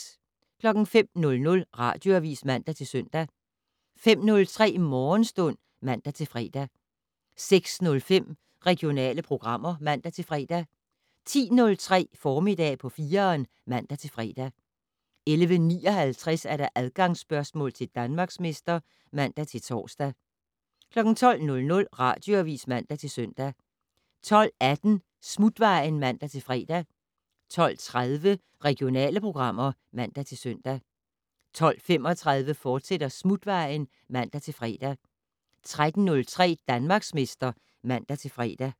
05:00: Radioavis (man-søn) 05:03: Morgenstund (man-fre) 06:05: Regionale programmer (man-fre) 10:03: Formiddag på 4'eren (man-fre) 11:59: Adgangsspørgsmål til Danmarksmester (man-tor) 12:00: Radioavis (man-søn) 12:18: Smutvejen (man-fre) 12:30: Regionale programmer (man-søn) 12:35: Smutvejen, fortsat (man-fre) 13:03: Danmarksmester (man-fre)